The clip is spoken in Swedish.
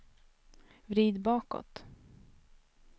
vrid bakåt